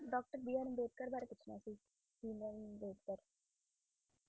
Doctor B R Ambedkar ਵਾਰੇ ਪੁੱਛਣਾ ਸੀ ਬੀ ਆਰ ਅੰਬੇਡਕਰ